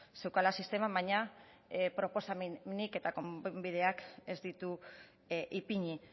zeukala sistemak baina proposamenik eta konponbiderik ez ditu ipini